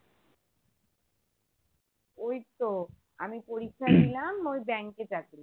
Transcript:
ওই তো আমি পরীক্ষা ওই bank এ চাকরি